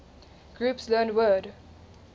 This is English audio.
groups learned word